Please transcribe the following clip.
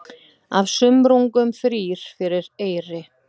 Af sumrungum þrír fyrir eyri.